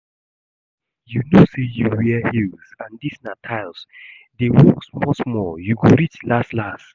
Suffering, you know say you wear heels and dis na tyles, dey walk small small. You go reach las las